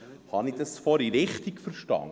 Habe ich es vorhin richtig verstanden?